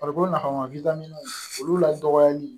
Farikolo nafama olu la dɔgɔyali